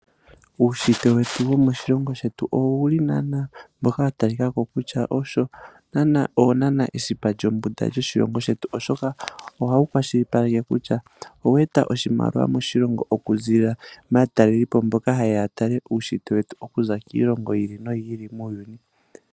Uushitwe wetu wo moshilongo shetu owu li wa talika ko kutya owo naana esipa lyombunda lyoshilongo shetu oshika ohawu kwashilipaleke kutya owe eta oshimaliwa moshilongo okuziilila kaatalelipo mbo hayeya oku tala uushitwe yomoshilongo shetu okuza kiilongo ya yooloka muuyuni.